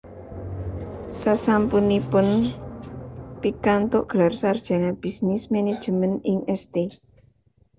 Sasampunipun pikantuk gelar sarjana Bisnis Management ing St